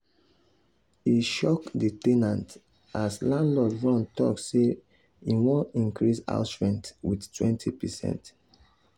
e shock the ten ant as landlord run talk sey e want increase house rent with 20%